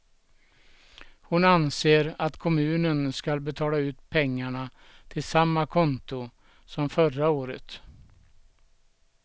Hon anser att kommunen skall betala ut pengarna till samma konto som förra året.